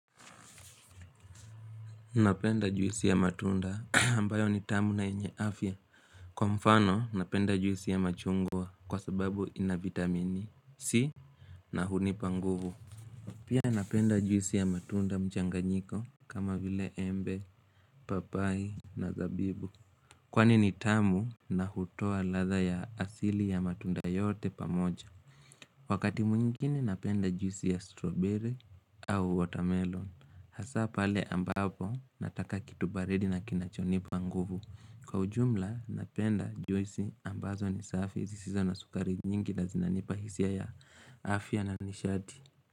Napenda juisi ya matunda ambayo ni tamu na yenye afya. Kwa mfano napenda juisi ya machungwa kwa sababu ina vitamini C na hunipa nguvu. Pia napenda juisi ya matunda mchanganyiko kama vile embe, papai na zabibu. Kwani ni tamu na hutoa ladha ya asili ya matunda yote pamoja. Wakati mwingini napenda juisi ya strawberry au watermelon. Hasa pale ambapo nataka kitu baridi na kinachonipa nguvu. Kwa ujumla napenda juisi ambazo ni safi zisizo na sukari nyingi na zinanipa hisia ya afya na nishati.